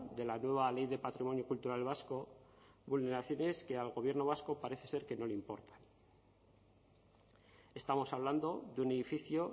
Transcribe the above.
de la nueva ley de patrimonio cultural vasco vulneraciones que al gobierno vasco parece ser que no le importan estamos hablando de un edificio